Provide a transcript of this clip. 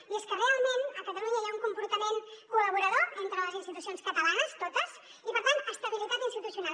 i és que realment a catalunya hi ha un comportament col·laborador entre les institucions catalanes totes i per tant estabilitat institucional